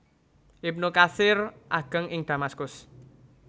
Ibnu Katsir ageng ing Damaskus